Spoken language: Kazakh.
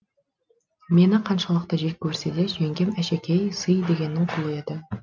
мені қаншалықты жек көрсе де жеңгем әшекей сый дегеннің құлы еді